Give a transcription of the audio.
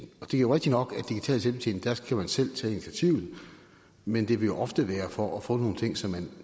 og det er jo rigtigt nok at med digital selvbetjening skal man selv tage initiativet men det vil jo ofte være for at få nogle ting som man